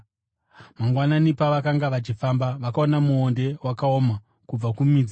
Mangwanani, pavakanga vachifamba, vakaona muonde wakaoma kubva kumidzi.